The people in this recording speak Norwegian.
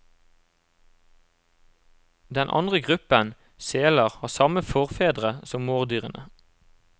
Den andre gruppen, seler, har samme forfedre som mårdyrene.